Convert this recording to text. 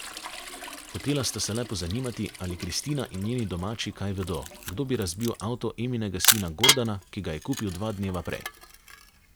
Hotela sta se le pozanimati, ali Kristina in njeni domači kaj vedo, kdo bi razbil avto Eminega sina Gordana, ki ga je kupil dva dneva prej.